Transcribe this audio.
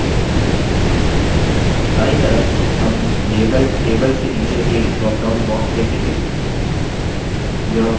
दायीं तरफ हम label tables के नीचे एक drop down box देखेंगे